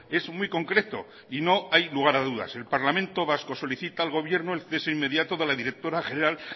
es muy concreto y no hay lugar a dudas el parlamento vasco solicita al gobierno el cese inmediato de la directora general